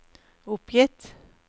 oppgitt